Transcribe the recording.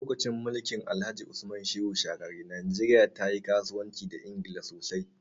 Lokacin mulkin Alhaji Usman Shehu Shagari, najeriya ta yi kasuwanci da Ingila sosai.